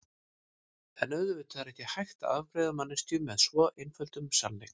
En auðvitað er ekki hægt að afgreiða manneskju með svo einföldum sannleik.